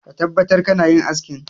Ka tabbatar kana yin askin!